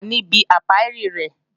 A wà níbi ápíárì rẹ̀